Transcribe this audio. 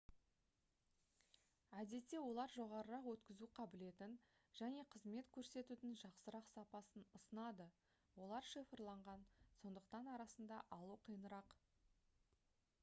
әдетте олар жоғарырақ өткізу қабілетін және қызмет көрсетудің жақсырақ сапасын ұсынады олар шифрланған сондықтан арасында алу қиынырақ